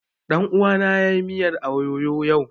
Ɗan uwana ya yi miyar ayoyo yau